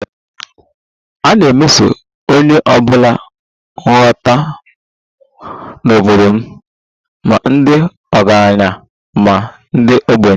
A na-emeso onye ọ bụla nhata n'obodo m, ma ndị ọgaranya ma ndị ogbenye